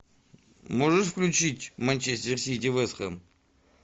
можешь включить манчестер сити вест хэм